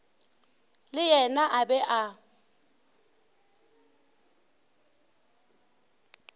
le yena a be a